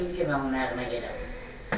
Dedim ki, mən o kimdir ki, mən onun ayağına gedəm.